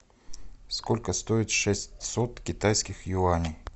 сколько стоит шестьсот китайских юаней